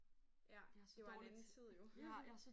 Ja det var en anden tid jo